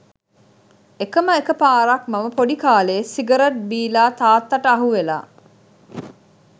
එකම එක පාරක් මම පොඩි කාලේ සිගරට් බිලා තාත්තාට අහුවෙලා